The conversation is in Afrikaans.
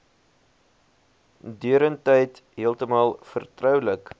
deurentyd heeltemal vertroulik